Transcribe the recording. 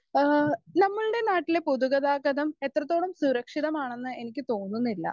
Speaker 1 ഏഹ് നമ്മളുടെ നാട്ടിലെ പൊതു ഗതാഗതം എത്രത്തോളം സുരക്ഷിതമാണെന്ന് എനിക്ക് തോന്നുന്നില്ല.